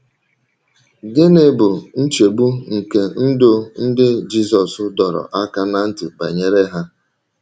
Gịnị bụ nchegbu nke ndụ ndị Jizọs dọrọ aka ná ntị banyere ha?